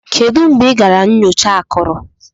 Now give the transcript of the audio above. Kedu mgbe ị gara nyocha akụrụ?